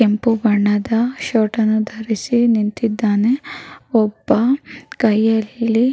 ಕೆಂಪು ಬಣ್ಣದ ಶರ್ಟ್ ಅನ್ನು ಧರಿಸಿ ನಿಂತಿದ್ದಾನೆ ಒಬ್ಬ ಕೈಯಲ್ಲಿ --